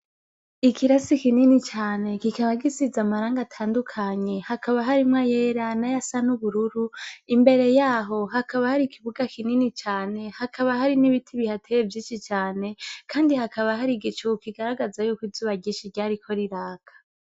ikirasi kinini cane kikaba gisiz' amarang' atandukanye, hakaba harimw' ayera n'ayasa n'ubururu, imbere yaho hakaba har' ikibuga kinini cane , hakaba hari n' ibiti bihateye vyinshi cane kandi hakaba har' igicu kigaragaza yuko izuba ryariko riraka.